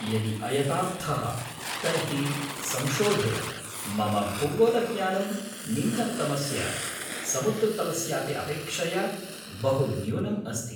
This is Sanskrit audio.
यदि अयथार्थः तर्हि संशोधय, मम भूगोलज्ञानं निम्नतमस्य समुद्रतलस्यापि अपेक्षया बहु न्यूनम् अस्ति।